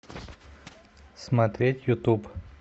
смотреть ютуб